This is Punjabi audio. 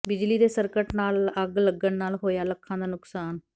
ਬਿਜਲੀ ਦੇ ਸਰਕਟ ਨਾਲ ਅੱਗ ਲੱਗਣ ਨਾਲ ਹੋਇਆ ਲੱਖਾਂ ਦਾ ਨੁਕਸਾਨ